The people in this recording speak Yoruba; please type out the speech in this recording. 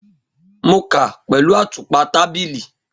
Mo ka pẹlu atupa tabili.